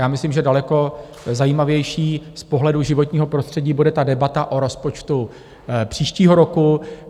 Já myslím, že daleko zajímavější z pohledu životního prostředí bude ta debata o rozpočtu příštího roku.